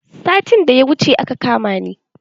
Satin da ya wuce aka kama ni.